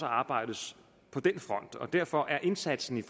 arbejdes på den front og derfor er indsatsen i